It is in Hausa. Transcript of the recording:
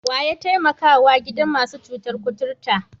Wa ya taimakawa gidan masu cutar kuturta?